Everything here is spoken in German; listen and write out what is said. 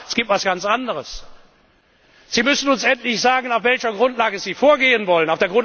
Aber es gibt noch etwas ganz anderes Sie müssen uns endlich sagen, auf welcher Grundlage Sie vorgehen wollen.